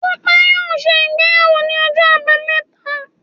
Dupe yóò se ìgbéyàwó ní Ọjọ abámeta